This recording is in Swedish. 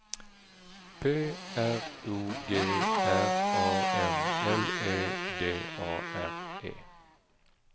P R O G R A M L E D A R E